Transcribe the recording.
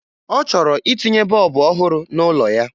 Ọ chọrọ itinye bọọbụ ọhụrụ n'ụlọ ya